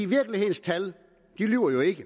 virkelighedens tal lyver jo ikke